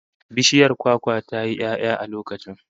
Bishiyar kwakwa ta yi 'ya'ya a lokacin